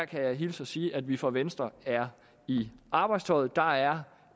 kan hilse at sige at vi fra venstre er i arbejdstøjet der er